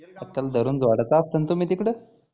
धरून तुम्ही तिकडे